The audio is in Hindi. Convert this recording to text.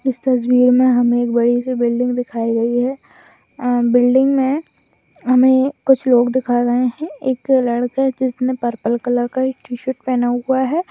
इस तस्वीर मे हमे एक बड़ी सी बिल्डिंग दिखाई गई है अ बिल्डिंग मे हमे कुछ लोग दिखाये गये है एक लड़का है जिसने पर्पल कलर का टी-शर्ट पहना हुआ है।